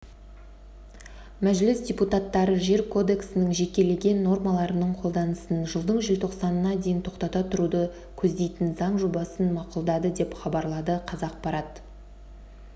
мәжіліс депутаттары жер кодексінің жекелеген нормаларының қолданысын жылдың желтоқсанына дейін тоқтата тұруды көздейтін заң жобасын мақұлдады деп хабарлады қазақпарат